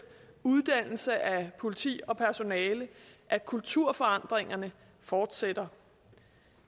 uddannelse af politi og personale at kulturforandringerne fortsætter